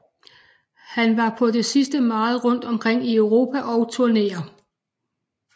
Han var på det sidste meget rundt omkring i Europa og turnere